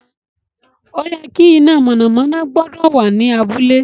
O ye ki iná mọ̀nàmọ́ná gbọ́dọ̀ wà ní abúlé